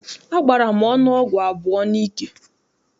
Agbara m ọnụ ọgwụ abụọ n'ike.